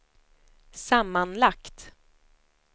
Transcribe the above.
sammanlagt